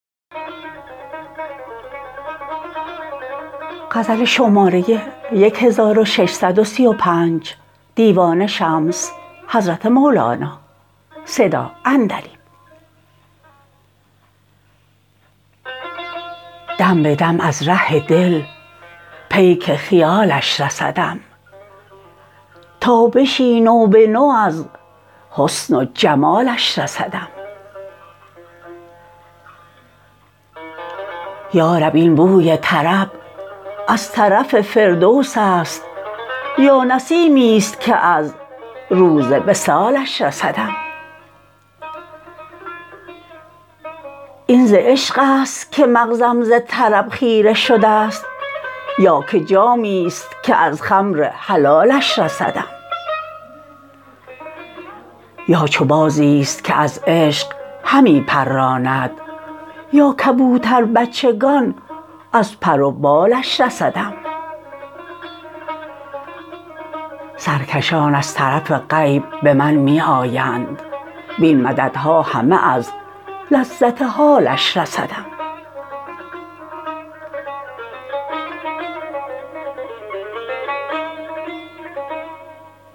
دم به دم از ره دل پیک خیالش رسدم تابشی نو به نو از حسن و جمالش رسدم یا رب این بوی طرب از طرف فردوس است یا نسیمی است که از روز وصالش رسدم این ز عشق است که مغزم ز طرب خیره شده ست یا که جامی است که از خمر حلالش رسدم یا چو بازی است که از عشق همی پراند یا کبوتربچگان از پر و بالش رسدم سرکشان از طرف غیب به من می آیند وین مددها همه از لذت حالش رسدم